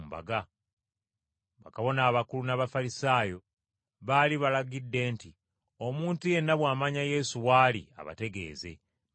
Bakabona abakulu n’Abafalisaayo baali balagidde nti, Omuntu yenna bw’amanya Yesu wali abategeeze, balyoke bamukwate.